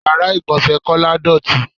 Ìyára ìgbọ̀nsẹ̀ Kọ́lá dọọti.